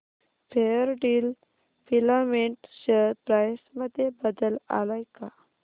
Fairdeal filament share price मध्ये बदल आलाय का